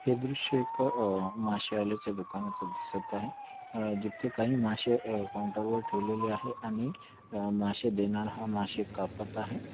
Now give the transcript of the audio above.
हे दृश्य एक अह माशे वाल्याच्या दुकानाचं दिसत आहे. अह जिथे काही माशे अह काऊंटर वर ठेवलेली आहे. आणि अह माशे देणारा हा माशे कापत आहे.